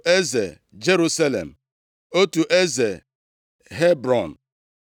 eze Jerusalem, otu eze Hebrọn, otu